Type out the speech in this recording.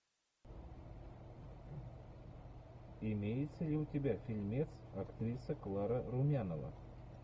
имеется ли у тебя фильмец актриса клара румянова